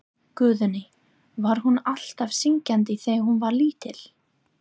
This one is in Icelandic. Guðný: Var hún alltaf syngjandi þegar hún var lítil?